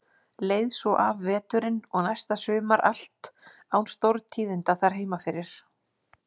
Leið svo af veturinn og næsta sumar allt án stórtíðinda þar heima fyrir.